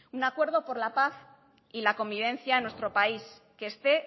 un acuerdo por la paz y la convivencia en nuestro país que esté